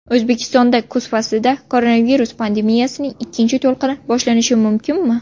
O‘zbekistonda kuz faslida koronavirus pandemiyasining ikkinchi to‘lqini boshlanishi mumkinmi?